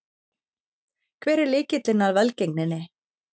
Hver er lykilinn að velgengninni?